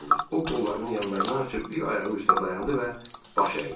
O qollarını yanlarına açıb bir ayağı üstə dayandı və baş əydi.